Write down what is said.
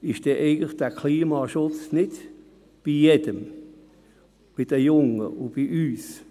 Ist denn dieser Klimaschutz eigentlich nicht an jedem, an den Jungen und an uns?